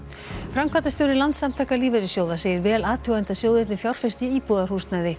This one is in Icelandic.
framkvæmdastjóri Landssamtaka lífeyrissjóða segir vel athugandi að sjóðirnir fjárfesti í íbúðarhúsnæði